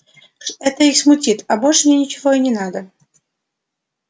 это их смутит а больше мне ничего не надо